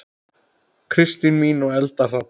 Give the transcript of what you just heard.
Kristín mín og Eldar Hrafn.